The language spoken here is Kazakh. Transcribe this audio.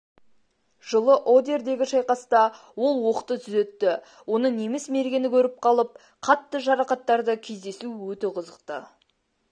жылы одердегі шайқаста ол оқты түзетті оны неміс мергені көріп қалып қатты жарақаттады кездесу өте қызықты